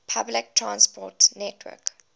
public transport network